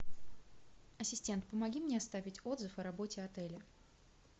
ассистент помоги мне оставить отзыв о работе отеля